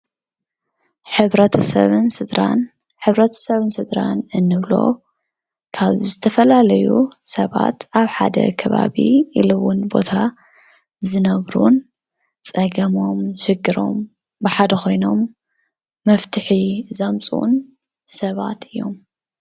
ሕብረተሰብን ስድራን፦ ሕብረተሰብን ስድራን እንብሎ ካብ ዝተፈላለዩ ሰባት ኣብ ሓደ ከባቢ ኢሉ እውን ቦታ ዝነብሩን ፀገሞም ችግሮም ብሓደ ኮይኖም መፍትሒ ዘምፅኡን ሰባት እዮም።